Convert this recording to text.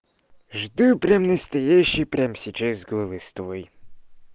жду прям настоящий прямо сейчас голос твой